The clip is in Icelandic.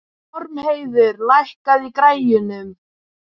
Ormheiður, lækkaðu í græjunum.